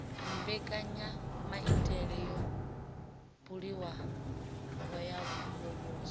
mbekanyamaitele yo buliwaho ya muvhuso